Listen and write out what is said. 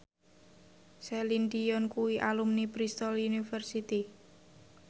Celine Dion kuwi alumni Bristol university